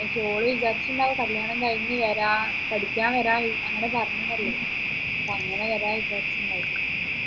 പക്ഷേ ഓൾ വിചാരിച്ചിട്ടുണ്ടാവും കല്യാണം കഴിഞ്ഞ് വരാം പഠിക്കാൻ വരാം ഇ അങ്ങനെ പറഞ്ഞതല്ലേ പക്ഷേ അങ്ങനെ വരാന്ന് വിചാരിച്ചിട്ടുണ്ടാവും